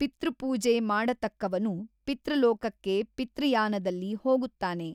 ಪಿತೃಪೂಜೆ ಮಾಡತಕ್ಕವನು ಪಿತೃಲೋಕಕ್ಕೆ ಪಿತೃಯಾನದಲ್ಲಿ ಹೋಗುತ್ತಾನೆ.